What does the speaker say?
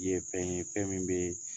ye fɛn ye fɛn min bɛ ye